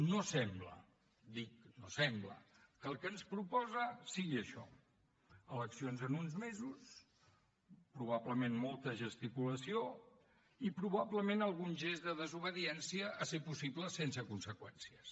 no sembla dic no sembla que el que ens proposa sigui això eleccions en uns mesos probablement molta gesticulació i probablement algun gest de desobediència si és possible sense conseqüències